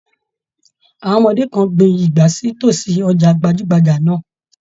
Àwọn ọmọdé kan gbìn igbá sí tosí ọjà gbajugbaja náà.